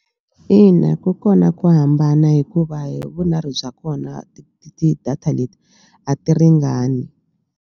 Ina, ku kona ku hambana hikuva hi vunharhu bya kona ti-data leti a ti ringani.